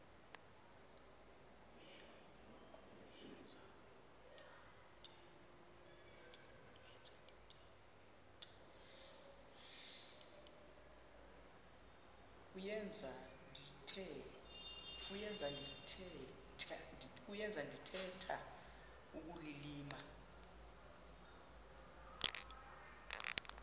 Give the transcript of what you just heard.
kuyenza ndithetha ukulilima